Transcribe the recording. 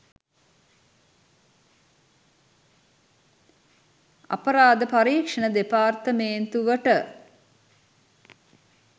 අපරාධ පරීක්‍ෂණ දෙපාර්තමේන්තුවට